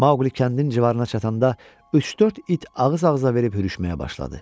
Maqli Kandin civarına çatanda üç-dörd it ağız-ağıza verib hürüşməyə başladı.